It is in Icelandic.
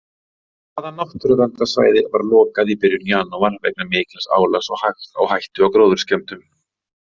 Hvaða náttúruverndarsvæði var lokað í byrjun janúar vegna mikils álags og hættu á gróðurskemmdum?